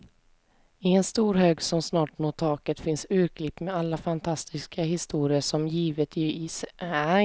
I en stor hög som snart når taket finns urklipp med alla fantastiska historier, som givetvis är tagna helt ur luften.